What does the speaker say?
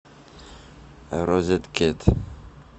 розеткед